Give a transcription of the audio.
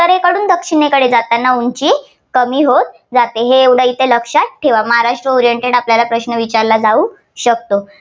कडून दक्षिणेकडे जाताना उंची कमी होत जाते हे एवढं येथे लक्षात ठेवा. महाराष्ट्र oriented प्रश्न आपल्याला विचारला जाऊ शकतो.